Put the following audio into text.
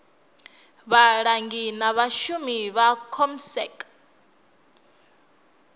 vhalangi na vhashumi vha comsec